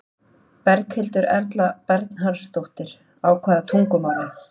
Berghildur Erla Bernharðsdóttir: Á hvaða tungumáli?